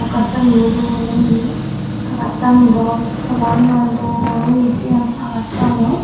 ghachaniyo dol oye agachani daw hobar noi dol oye sin agachano.